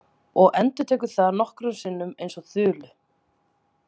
Og endurtekur það nokkrum sinnum eins og þulu.